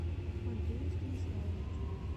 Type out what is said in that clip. андрею станиславовичу